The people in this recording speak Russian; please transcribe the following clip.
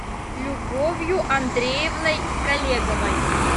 любовью андреевной колеговой